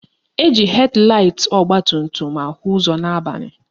Eji hed laịt ọgbatumtum ahụ ụzọ n'abalị